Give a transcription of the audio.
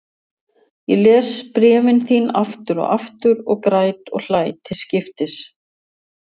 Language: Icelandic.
Ég les bréfin þín aftur og aftur og græt og hlæ til skiptis.